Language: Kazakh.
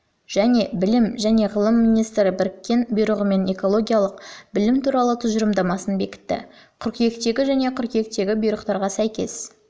және білім және ғылыми министрлігі біріккен бұйрығымен экологиялық білім туралы тұжырымдамасын бекітті қыркүйектегі және қыркүйектегі бұйрықтарға сәйкес